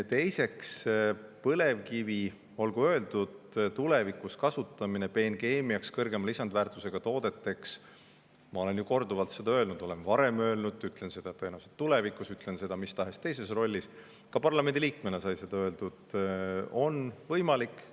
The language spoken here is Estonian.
Teiseks, põlevkivi tulevikus kasutamine peenkeemiaks, kõrgema lisandväärtusega toodeteks – ma olen korduvalt seda varem öelnud ja ütlen seda tõenäoliselt ka tulevikus, ütlen seda mis tahes teises rollis, ka parlamendi liikmena sai seda öeldud – on võimalik.